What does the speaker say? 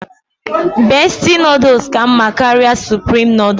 Bestie nodles ka mma karịa supreme nodles